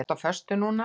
Ertu á föstu núna?